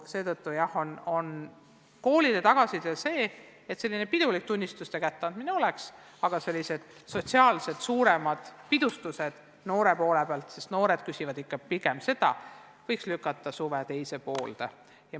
Seetõttu on koolide tagasiside olnud selline, et pidulik tunnistuste kätte andmine võiks siiski toimuda, aga et suuremad sotsiaalsed pidustused noortele – sest pigem noored küsivad seda – võiks lükata suve teise poolde.